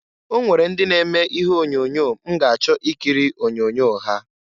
Onwere ndị na-eme ihe onyoonyo m ga achọ ikiri onyoonyo ha.